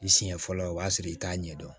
I siɲɛ fɔlɔ o b'a sɔrɔ i t'a ɲɛdɔn